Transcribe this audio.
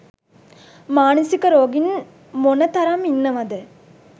මානසික රෝගීන් මොන තරම් ඉන්නවද?